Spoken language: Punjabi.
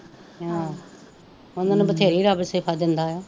ਹਾਂ ਉਹਨਾ ਨੂੰ ਬਥੇ੍ਰੀ ਰੱਬ ਦਿੰਦਾ ਹੈ